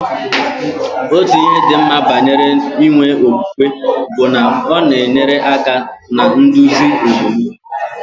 Otu ihe dị mma banyere inwe okwukwe bụ na ọ na-enyere aka na nduzi omume.